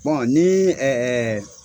n'i ye